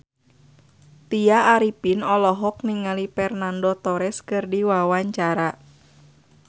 Tya Arifin olohok ningali Fernando Torres keur diwawancara